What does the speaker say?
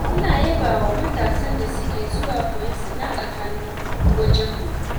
ina yabawa matasan da suke zuwa koyon sana'ar hannu wajenmu.